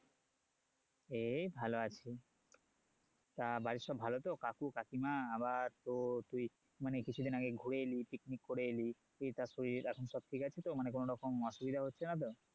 এই ভালো আছি তা বাড়িতে সব ভালো তো কাকু কাকিমা আবার তো তুই মানে কিছুদিন আগে ঘুরে এলি picnic করে এলি তা শরীর এখন সব ঠিক আছে তো মানে কোনো রকম অসুবিধা হচ্ছে না তো